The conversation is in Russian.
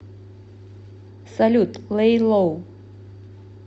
салют лей лоу